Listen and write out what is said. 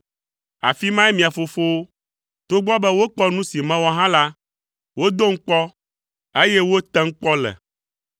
Afi mae mia fofowo, togbɔ be wokpɔ nu si mewɔ hã la, wodom kpɔ, eye wotem kpɔ le.